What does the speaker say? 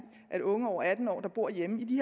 at unge over atten år der bor hjemme i de